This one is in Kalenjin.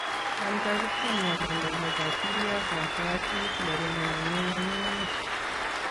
Anthrax ko miondo nebo bacillus anthracis murindo nemenye ng'ung'unyek